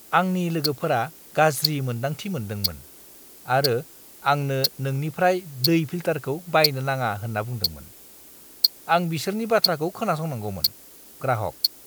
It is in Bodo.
आंनि लोगोफोरा गाज्रि मोन्दांथि मोनदोंमोन आरो आंनो नोंनिफ्राय दै फिल्टारखौ बायनो नाङा होन्ना बुंदोंमोन। आं बिसोरनि बाथ्राखौ खोनासंनांगौमोन। (ग्राहक)